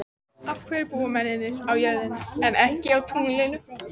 Af hverju búa mennirnir á jörðinni en ekki á tunglinu?